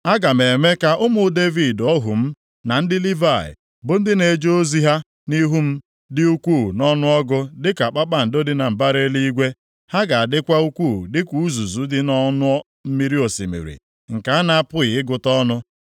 Aga m eme ka ụmụ ụmụ Devid ohu m, na ndị Livayị, bụ ndị na-eje ozi ha nʼihu m, dị ukwuu nʼọnụọgụgụ dịka kpakpando dị na mbara eluigwe; ha ga-adịkwa ukwuu dịka uzuzu dị nʼọnụ mmiri osimiri nke a na-apụghị ịgụta ọnụ.’ ”